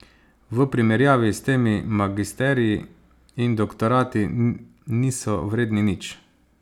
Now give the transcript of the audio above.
V primerjavi s tem magisteriji in doktorati niso vredni nič.